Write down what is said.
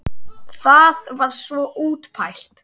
Það var svo útpælt!